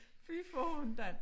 Fy faen da